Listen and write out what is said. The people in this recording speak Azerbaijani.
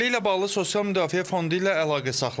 Məsələ ilə bağlı Sosial Müdafiə Fondu ilə əlaqə saxladıq.